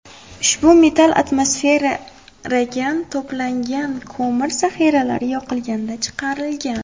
Ushbu metal atmosferagan to‘plangan ko‘mir zahiralari yoqilganda chiqarilgan.